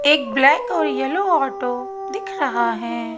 एक ब्लैक और yellow auto दिख रहा है।